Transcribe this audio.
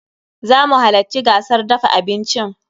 Zamu halacci gasar dafa abincin.